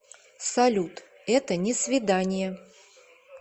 салют это не свидание